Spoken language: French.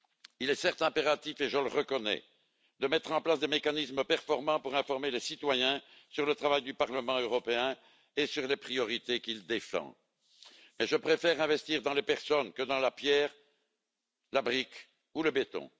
Il est certes impératif, et je le reconnais, de mettre en place des mécanismes performants pour informer les citoyens sur le travail du Parlement et sur les priorités qu'il défend, mais je préfère investir dans les personnes que dans la pierre, la brique ou le béton.